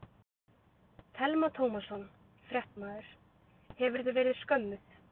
Telma Tómasson, fréttamaður: Hefurðu verið skömmuð?